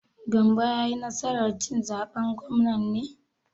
Gambo ya yi nasar cin zaben gwamnan ne?